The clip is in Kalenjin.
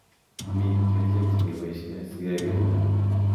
Mi kerichek chekiboishe sikekirinda.